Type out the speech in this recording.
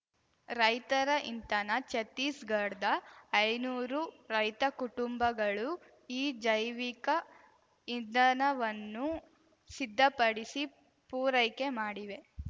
ರೈತರ ಇಂಧನ ಛತ್ತೀಸ್‌ಗಡ್ದ ಐನೂರು ರೈತ ಕುಟುಂಬಗಳು ಈ ಜೈವಿಕ ಇಂಧನವನ್ನು ಸಿದ್ಧಪಡಿಸಿ ಪೂರೈಕೆ ಮಾಡಿವೆ